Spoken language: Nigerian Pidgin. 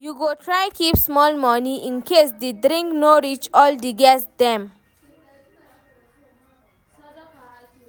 You go try keep small moni incase di drink no reach all di guest dem.